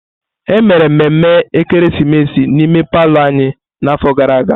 Emere mmemme ekeresimesi n'ime palọ anyị n'afọ gara aga.